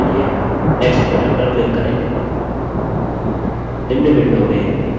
नया डेटाबेस बनाने के लिए next बटन पर क्लिक करें